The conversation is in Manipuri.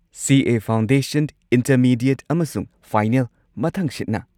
ꯁꯤ. ꯑꯦ. ꯐꯥꯎꯟꯗꯦꯁꯟ, ꯢꯟꯇꯔꯃꯤꯗꯤꯌꯦꯠ ꯑꯃꯁꯨꯡ ꯐꯥꯏꯅꯦꯜ ꯃꯊꯪꯁꯤꯠꯅ꯫